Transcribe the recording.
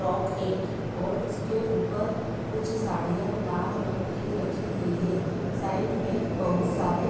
frock है और उसके ऊपर कुछ साड़ियाँ लाल रंग की रखी हुई है साइड में बहुत सारे --